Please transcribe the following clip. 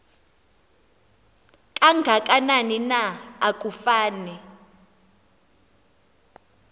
kangakanani na akufani